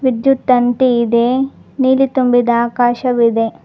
ವಿದ್ಯುತ್ ತಂತಿದೆ ನೀಲಿ ತುಂಬಿದ ಆಕಾಶವಿದೆ.